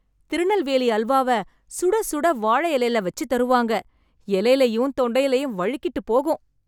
திருநெல்வேலி அல்வாவ சுட சுட வாழை இலைல வச்சுத் தருவாங்க, இலைலயும் தொண்டைலயும்வழுக்கிட்டுப் போகும்.